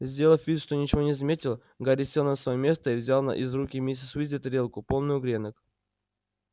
сделав вид что ничего не заметил гарри сел на своё место и взял из рук миссис уизли тарелку полную гренок